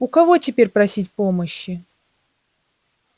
у кого теперь просить помощи